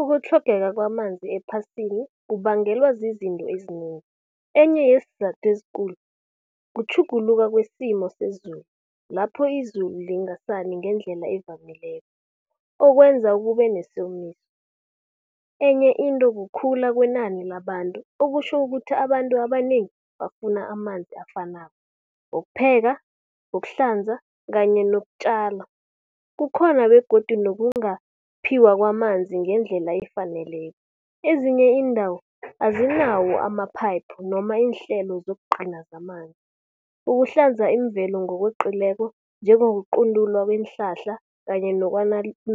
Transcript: Ukutlhogeka kwamanzi ephasini, kubangelwa zizinto ezinengi. Enye yesizathu ezikulu kutjhuguluka kwesimo sezulu, lapho izulu lingasani ngendlela evamileko, okwenza kuba nesomiso. Enye into kukhula kwenani labantu, okutjho ukuthi abantu abanengi bafuna amanzi afanako, wokupheka, wokuhlanza kanye nokutjala. Kukhona begodu nokungaphiwa kwamanzi ngendlela efaneleko. Ezinye iindawo, azinawo amaphayiphu noma iinhlelo zokugcina zamanzi. Ukuhlanza imvelo ngokweqileko, njengokuquntulwa kweenhlahla kanye